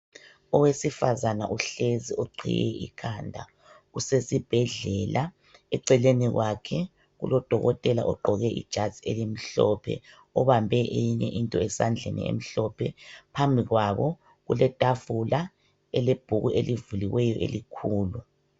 Owesifazana uhlezi uqhiye ikhanda, usesibhedlela. Eceleni kwakhe kulodokotela ogqoke ijazi elimhlophe, obambe eyinye into esandleni emhlophe. Phambi kwabo kuletafula elebhuku elivuliweyo elikhulu.